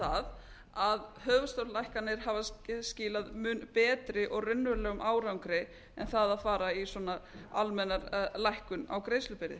það að höfuðstólslækkanir hafa skilað mun betri og raunverulegum árangri en það að fara í svona almenna lækkun á greiðslubyrði